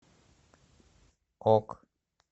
ок